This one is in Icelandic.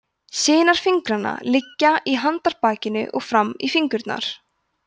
sinar fingranna liggja í handarbakinu og fram í fingurna